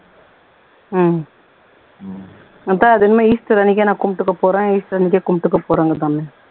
உம் அப்ப அது இனிமே easter அன்னைக்கே கும்புட்டுக்க போறேன் easter அன்னைக்கே கும்புட்டுக்க போறேங்குதாமே